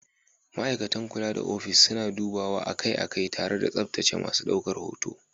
Ma'aikatan kula da ofis suna dubawa akai-akai tare da tsaftace masu ɗaukar hoto.